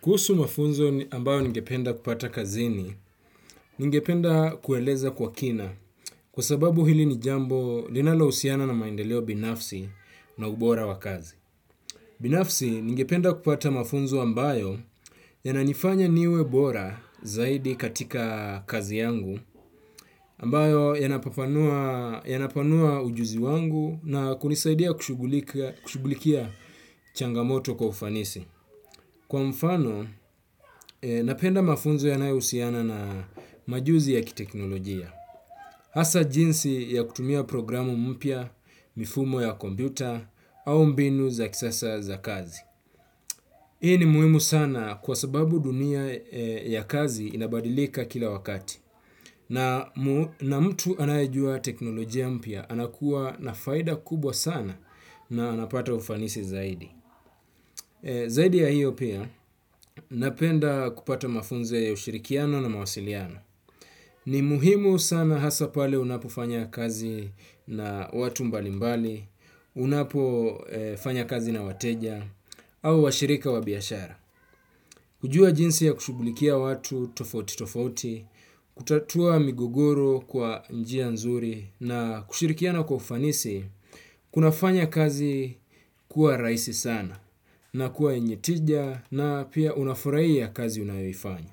Kuhusu mafunzo ambayo ningependa kupata kazini, ningependa kueleza kwa kina kwa sababu hili ni jambo linalo usiana na maendeleo binafsi na ubora wakazi. Binafsi ningependa kupata mafunzo ambayo yananifanya niwebora zaidi katika kazi yangu ambayo yanapanua ujuzi wangu na kunisaidia kushugulikia changamoto kwa ufanisi. Kwa mfano, napenda mafunzo yanae usiana na majuzi ya kiteknolojia. Hasa jinsi ya kutumia programu mpia, mifumo ya kombuita, au mbinu za kisasa za kazi. Hii ni muhimu sana kwa sababu dunia ya kazi inabadilika kila wakati. Na mtu anayejua teknolojia mpia, anakuwa na faida kubwa sana na anapata ufanisi zaidi. Zaidi ya hiyo pia napenda kupata mafunzo ya ushirikiano na mawasiliano. Ni muhimu sana hasa pale unapo fanya kazi na watu mbalimbali, unapo fanya kazi na wateja, au washirika wabiashara. Kujua jinsi ya kushugulikia watu tofauti tofauti, kutatua migogoru kwa njia nzuri na kushirikiana kwa kufanisi, kuna fanya kazi kuwa raisi sana na kuwa enye tija na pia unafuraiya kazi unayofanya.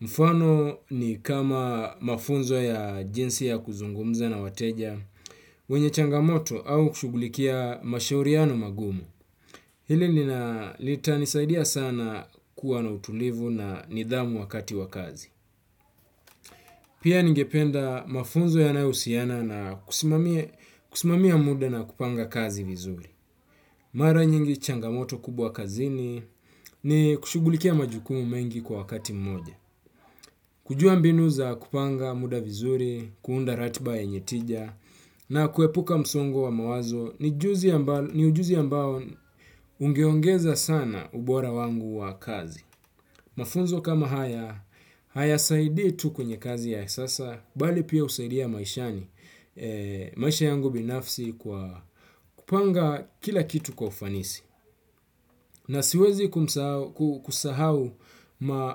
Mfano ni kama mafunzo ya jinsi ya kuzungumza na wateja, wenye changamoto au kushugulikia mashauriano magumu. Hili nina lita nisaidia sana kuwa na utulivu na nidhamu wakati wakazi. Pia ningependa mafunzo ya nao usiana na kusimamia muda na kupanga kazi vizuri. Mara nyingi changamoto kubwa kazini ni kushugulikia majukumu mengi kwa wakati mmoja. Kujua mbinu za kupanga muda vizuri kuunda ratiba yenye tija na kuepuka msongo wa mawazo ni ujuzi ambao ungeongeza sana ubora wangu wa kazi. Mafunzo kama haya, haya saidi tu kwenye kazi ya sasa, bali pia usaidia maishani, maisha yangu binafsi kwa kupanga kila kitu kwa ufanisi. Na siwezi kusahau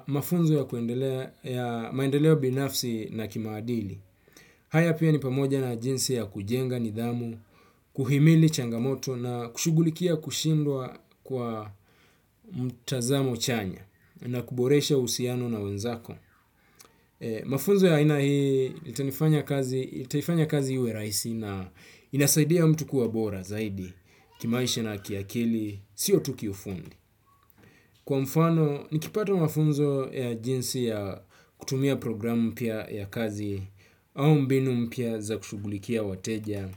mafunzo ya maendeleo binafsi na kimaadili. Haya ni pamoja na jinsi ya kujenga nidhamu kuhilimi changamoto na kushughulikia kushindwa kwa mtazamo chanya na kuboresha uhusiano na wenzako. Mafunzo ya ina hii, itaifanya kazi ue raisi na inasaidia mtu kuwa bora zaidi, kimaisha na kiakili, sio tuki ufundi. Kwa mfano, nikipata mafunzo ya jinsi ya kutumia programu mpia ya kazi au mbinu mpia za kushugulikia wateja.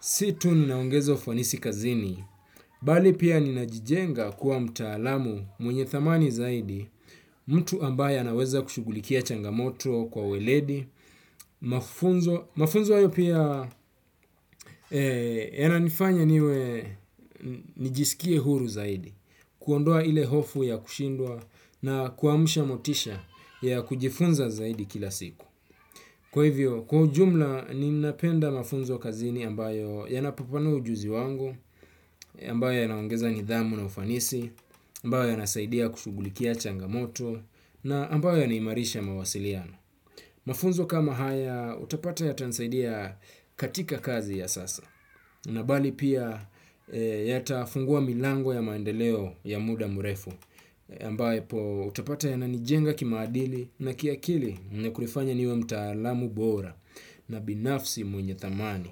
Situ ninaongezo ufanisi kazini. Bali pia ninajijenga kuwa mtaalamu mwenye thamani zaidi, mtu ambaye anaweza kushugulikia changamoto kwa weledi. Mafunzo ayo pia yananifanya niwe nijisikie huru zaidi. Kuondoa ile hofu ya kushindua na kuamusha motisha ya kujifunza zaidi kila siku. Kwa hivyo, kwa ujumla, ni napenda mafunzo kazini ambayo yanapapanu ujuzi wangu, ambayo yanawongeza nidhamu na ufanisi, ambayo yanasaidia kushugulikia changamoto, na ambayo yanimarisha mawasiliano. Mafunzo kama haya, utapata yatansaidia katika kazi ya sasa, na bali pia yata funguwa milango ya maendeleo ya muda murefu, ambaye po utapata ya nanijenga kimaadili na kia kili na kulifanya niwe mtaalamu bora na binafsi mwenye tamani.